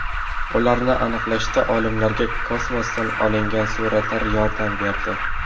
Ularni aniqlashda olimlarga kosmosdan olingan suratlar yordam berdi.